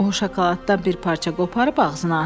O, şokoladdan bir parça qoparıb ağzına atdı.